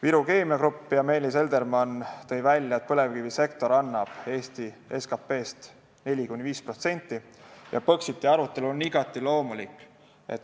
Meelis Eldermann Viru Keemia Grupist tõi välja, et põlevkivisektor annab Eesti SKP-st 4–5% ja Põxiti arutelu on igati loomulik.